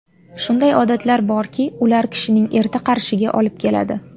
Shunday odatlar borki, ular kishining erta qarishiga olib keladi.